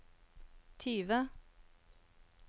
tyve